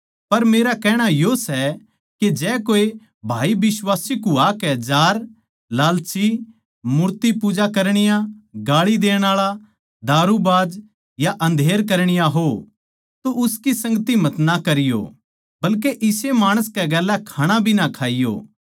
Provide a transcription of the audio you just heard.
पर मेरा कहणा यो सै के जै कोए भाई बिश्वासी कुह्वाकै जार लालची मूर्तिपूजा करणीये गाळी देण आळा दारूबाज या अन्धेर करणीया हो तो उसकी संगति मतना करीयो बल्के इसे माणस कै गेल्या खाणा भी ना खाइयों